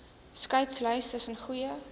skeidslyn tussen goeie